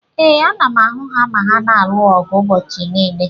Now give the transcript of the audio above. Ee, ana m ahụ ha ma ha na-alụ ọgụ ụbọchị niile.